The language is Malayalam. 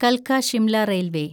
കൽക്ക ഷിംല റെയിൽവേ